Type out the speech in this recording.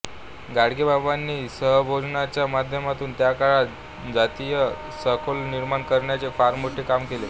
गाडगेबाबांनी सहभोजनाच्या माध्यमातून त्या काळात जातीय सलोखा निर्माण करण्याचे फार मोठे काम केले